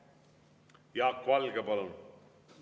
Jaak Valge, palun!